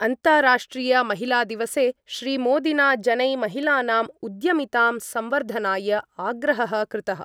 अन्ताराष्ट्रियमहिलादिवसे श्रीमोदिना जनै महिलानाम् उद्यमितां संवर्धनाय आग्रहः कृतः।